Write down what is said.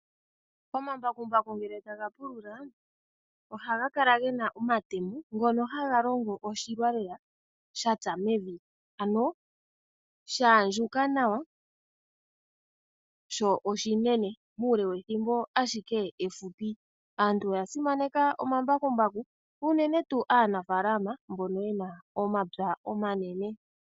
Omambakumbaku ngele tagapulula oha gakala ngena omatemo ngono hangalingo oshilwa lela shatsa mevi ano shandjuka nawa sho oshinene muule wethimbo ashike efupi, aantu oya simeneka omambakumbaku unene tu aanafalama mbono yena omapya omanene.